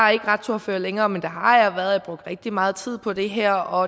er ikke retsordfører længere men det har jeg været og rigtig meget tid på det her og